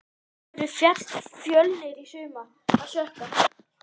Af hverju féll Fjölnir í sumar?